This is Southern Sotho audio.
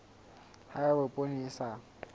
ha eba poone e sa